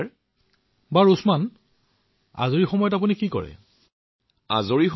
হয় মহোদয়